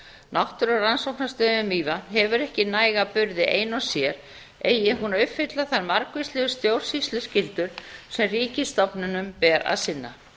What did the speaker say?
náttúrurannsóknastöðin við mývatn hefur ekki næga burði ein og sér eigi hún að uppfylla þær margvíslegu stjórnsýsluskyldur sem ríkisstofnunum ber að